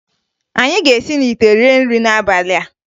Anyị ga-esi n'ite rie nrị n'abalị a